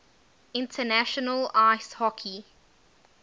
international ice hockey